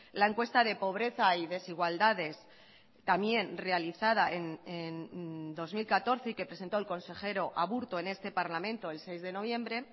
la encuesta de pobreza y desigualdades también realizada en dos mil catorce y que presentó el consejero aburto en este parlamento el seis de noviembre